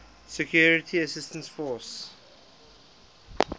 security assistance force